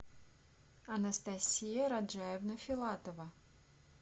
анастасия раджаевна филатова